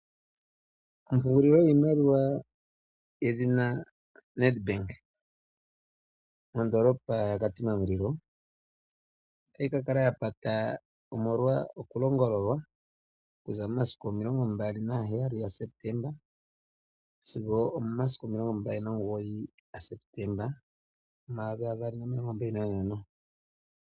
Ompungulilo yiimaliwa yedhina Nedbank mondoolopa yaKatima Mulilo otayi kakala yapata omolwa okulongololwa okuza momasiku 27 Septemba sigo 29 gaSeptemba 2025.